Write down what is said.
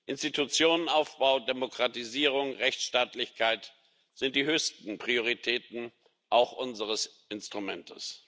Institutionenaufbau, Demokratisierung, Rechtsstaatlichkeit sind die höchsten Prioritäten auch unseres Instruments.